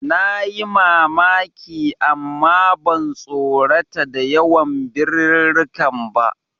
Nayi mamaki amma ban tsorata da yawan birirrikan ba.